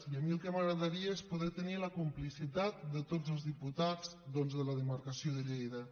i a mi el que m’agradaria és poder tenir la complicitat de tots els diputats doncs de la demarcació de lleida